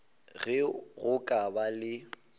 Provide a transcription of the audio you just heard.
ge go ka ba le